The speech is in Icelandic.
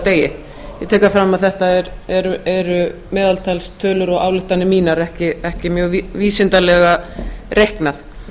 degi ég tek það fram að þetta eru meðaltalstölur og ályktanir mínar ekki mjög vísindalega reiknað